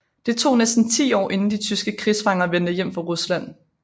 Det tog næsten ti år inden de tyske krigsfanger vendte hjem fra Rusland